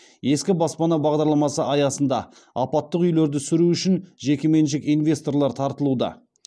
ескі баспана бағдарламасы аясында апаттық үйлерді сүру үшін жекеменшік инвесторлар тартылуда